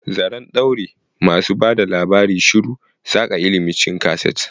Zaren ɗaure, masu ba da labari shiru, saƙa ilimi cikin kaset.